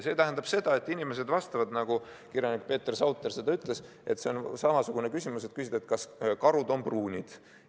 See tähendab, nagu kirjanik Peeter Sauter ütles, et see on samasugune küsimus nagu see, kas karud on pruunid.